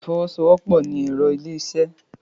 Ìfọwọ́sowọ́pọ̀ ni ẹ̀rọ ilé-isẹ́